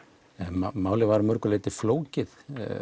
málið var að mörgu leyti flókið